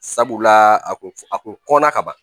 Sabula a kun a kunna ka ban